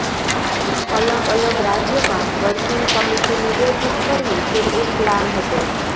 અલગ અલગ રાજ્યમાં વર્કિંગ કમિટીની બેઠક કરવી તે એક પ્લાન હતો